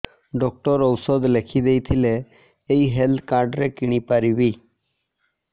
doctor ଔଷଧ ଲେଖିଦେଇଥିଲେ ଏଇ ହେଲ୍ଥ କାର୍ଡ ରେ କିଣିପାରିବି